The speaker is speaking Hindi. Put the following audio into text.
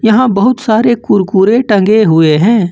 यहां बहुत सारे कुरकुरे टंगे हुए है।